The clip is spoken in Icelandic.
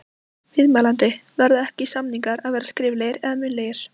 Viðmælandi: Verða ekki, samningar að vera skriflegir eða munnlegir?